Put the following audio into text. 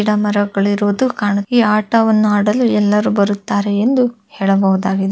ಗಿಡಮರಗಳು ಇರುವುದು ಕಾಣುತ್ತದೆ ಈ ಆಟವನ್ನು ಆಡಲು ಎಲ್ಲರು ಬರುತ್ತಾರೆ ಎಂದು ಹೇಳಬಹುದಾಗಿದೆ.